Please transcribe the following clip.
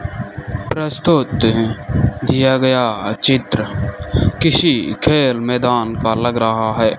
प्रस्तुत हैं दिया गया चित्र किसी खेल मैदान का लग रहा है।